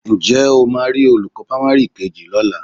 Ǹjẹ́ ó máa rí olùkọ́ pamari kejì lọ́la?